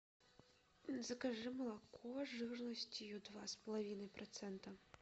закажи молоко жирностью два с половиной процента